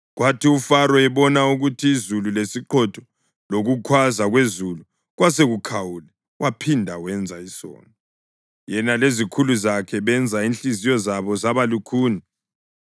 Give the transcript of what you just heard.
Kwathi uFaro ebona ukuthi izulu lesiqhotho lokukhwaza kwezulu kwasekukhawule waphinda wenza isono: Yena lezikhulu zakhe benza inhliziyo zabo zaba lukhuni.